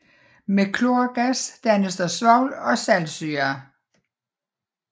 Med klorgas dannes der svovl og saltsyre